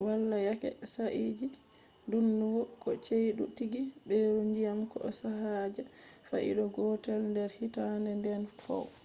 wala yake saayiji ''ndungu'' ko ''cheydu'' tigi: ɓeru ndyam ko sajjata fai'da ko gotel nder hittande ɗen fow